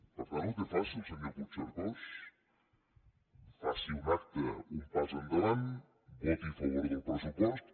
per tant ho té fàcil senyor puigcercós faci un acte un pas endavant voti a favor del pressupost